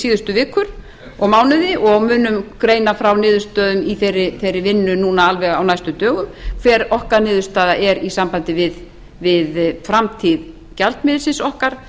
síðustu vikur og mánuði dag munum greina frá niðurstöðum í þeirri vinnu alveg núna á næstu dögum hver okkar niðurstaða er í sambandi við framtíð gjaldmiðilsins okkar